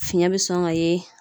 Fiɲɛ be sɔn ka ye